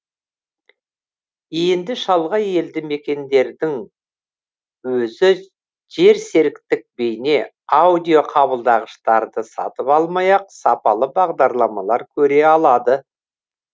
енді шалғай елді мекендердің өзі жерсеріктік бейне аудио қабылдағыштарды сатып алмай ақ сапалы бағдарламалар көре алады